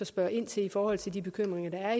spørge ind til i forhold til de bekymringer der